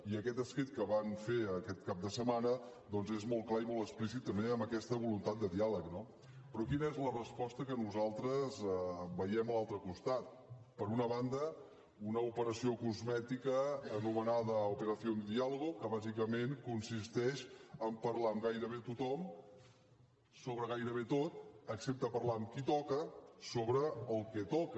i aquest escrit que van fer aquest cap de setmana és molt clar i molt explícit també en aquesta voluntat de diàleg no però quina és la resposta que nosaltres veiem a l’altre costat per una banda una operació cosmètica anomenada operación diálogo que bàsicament consisteix en parlar amb gairebé tothom sobre gairebé tot excepte parlar amb qui toca sobre el que toca